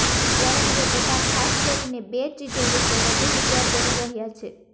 ત્યારે હવે બધાં ખાસ કરીને બે ચીજો વિશે વધુ વિચાર કરી રહ્યા છે